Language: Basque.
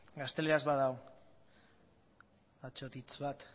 gazteleraz badago atsotitz bat